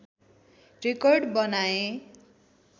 record बनाए